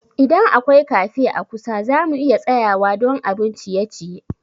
Idan akwai cafe a kusa, za mu iya tsayawa don abun ciye-ciye.